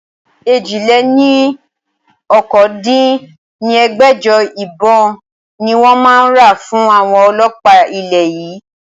èjì-lé-ní-okòó dín ní ẹgbẹ́jọ ìbọn ni wọn máa ra fún àwọn ọlọ́pa ilẹ̀ yìí